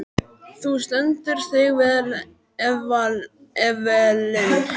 Þú stendur þig vel, Evelyn!